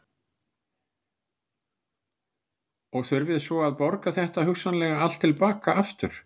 Og þurfið svo að borga þetta hugsanlega allt til baka aftur?